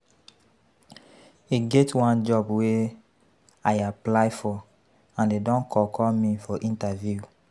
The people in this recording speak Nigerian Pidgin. E get one job wey I apply for and dey don call call me for interview